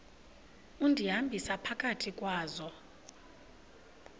undihambisa phakathi kwazo